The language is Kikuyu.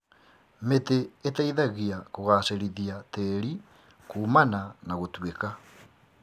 Mĩtĩ ĩteithagia kũgacĩrithia tĩĩri kuumana na gũtuĩka.